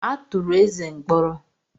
A tụrụ Eze mkpọrọ.